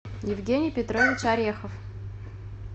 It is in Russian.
евгений петрович орехов